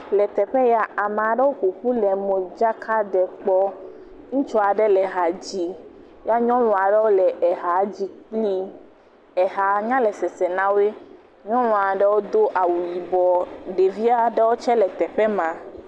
Le teƒe ya, ame aɖewo ƒoƒu le modzaka ɖem kpɔ. Ŋutsu aɖe le hã dzim ye nyɔnua ɖe ha dzim kpli. Eha nya le sesem na woe. Nyɔnua ɖe do awu yibɔ, ɖevi aɖewo tse le teƒe ma.